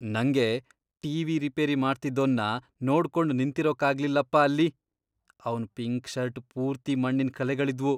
ನಂಗೆ TV. Repair ಮಾಡ್ತಿದ್ದೋನ್ನ ನೋಡ್ಕೊಂಡ್ ನಿಂತಿರೋಕಾಗ್ಲಿಲ್ಲಪ್ಪ ಅಲ್ಲಿ, ಅವ್ನ್ ಪಿಂಕ್ ಷರ್ಟ್ ಪೂರ್ತಿ ಮಣ್ಣಿನ್ ಕಲೆಗಳಿದ್ವು.